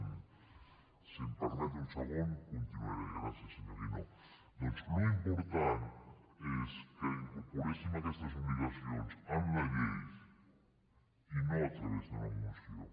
si em permet un segon continuaré gràcies senyor guinó doncs l’important és que incorporem aquestes obligacions en la llei i no a través d’una moció